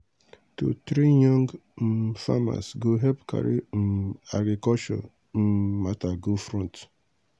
to train young um farmers go help carry um agriculture um matter go front.